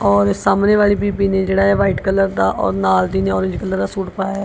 ਔਰ ਸਾਹਮਣੇ ਵਾਲੀ ਬੀਬੀ ਨੇ ਜਿਹੜਾ ਏ ਵਾਈਟ ਕਲਰ ਦਾ ਉਹ ਨਾਲ ਦੀ ਨੇ ਔਰੇਂਜ ਕਲਰ ਦਾ ਸੂਟ ਪਾਇਆ।